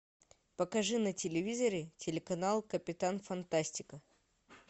покажи на телевизоре телеканал капитан фантастика